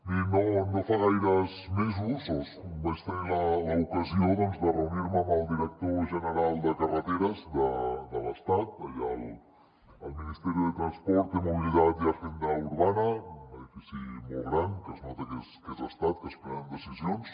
mirin no fa gaires mesos vaig tenir l’ocasió de reunir me amb el director general de carreteres de l’estat allà al ministerio de transporte mobilidad y agenda urbana un edifici molt gran que es nota que és estat que es prenen decisions